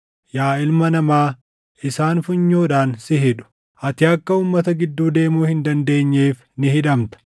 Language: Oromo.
Yaa ilma namaa, isaan funyoodhaan si hidhu; ati akka uummata gidduu deemuu hin dandeenyeef ni hidhamta.